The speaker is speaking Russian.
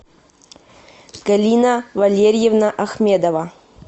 галина валерьевна ахмедова